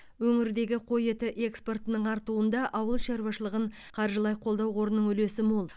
өңірдегі қой еті экспортының артуында ауыл шаруашылығын қаржылай қолдау қорының үлесі мол